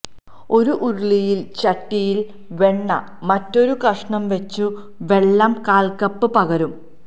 ഒരു ഉരുളിയിൽ ചട്ടിയിൽ വെണ്ണ മറ്റൊരു കഷണം വെച്ചു വെള്ളം കാൽകപ്പ് പകരും